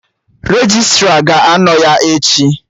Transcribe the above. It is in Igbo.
Registra ga-anọ ya echi